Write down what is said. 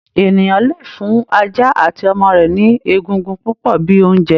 Ènìyàn lè fún ajá àti ọmọ rẹ ni ègùngùn púpọ bíi oúnjẹ.